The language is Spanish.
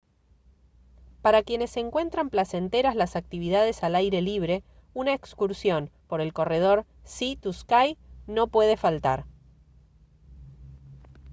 para quienes encuentran placenteras las actividades al aire libre una excursión por el corredor sea to sky no puede faltar